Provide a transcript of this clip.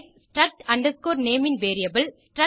struct name ன் variable